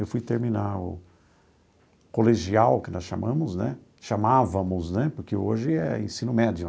Eu fui terminar o colegial, que nós chamamos né, chamávamos né, porque hoje é ensino médio.